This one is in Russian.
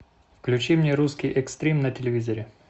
включи мне русский экстрим на телевизоре